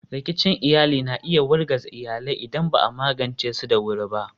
Rikicin iyali na iya wargaza iyalai idan ba a magance su da wuri ba.